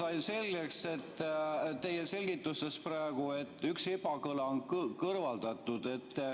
Ma sain selgeks praegu teie selgitustest, et üks ebakõla on kõrvaldatud.